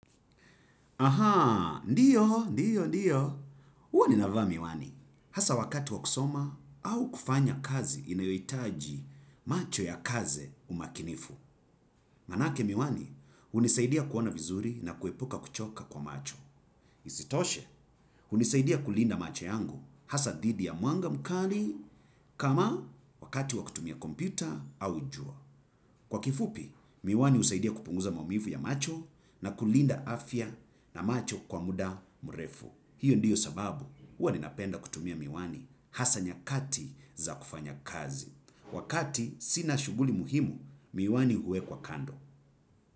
Ahaa, ndiyo, ndiyo, ndiyo. Uwa ninava miwani, hasa wakati wakusoma au kufanya kazi inayoitaji macho ya kaze umakinifu. Manake miwani hunisaidia kuona vizuri na kuepuka kuchoka kwa macho. Isitoshe, unisaidia kulinda macho yangu hasa didi ya muanga mkari kama wakati wakutumia kompyuta au ujua. Kwa kifupi, miwani usaidia kupunguza maumifu ya macho na kulinda afya na macho kwa muda murefu. Hiyo ndiyo sababu, huwa ninapenda kutumia miwani hasa nyakati za kufanya kazi. Wakati sina shuguli muhimu, miwani huwe kwa kando.